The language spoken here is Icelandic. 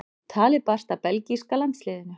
Talið barst að belgíska landsliðinu.